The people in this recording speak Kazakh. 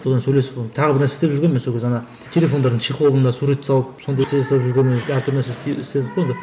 содан сөйлесіп оны тағы бір нәрсе істеп жүргенмін сол кезде ана телефондардың чехолына сурет салып сондай нәрсе жасап жүргенмін әртүрлі нәрсе істедік қой енді